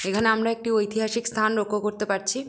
এখানে আমরা একটা ঐতিহাসিক স্থান লক্ষ্য করতে পারছি।